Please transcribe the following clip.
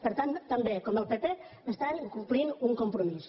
per tant també com el pp estan incomplint un compromís